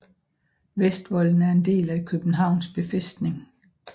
Vestvolden er en del af Københavns Befæstning